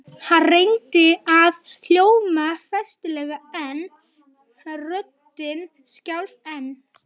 Hann reyndi að hljóma festulega en röddin skalf enn.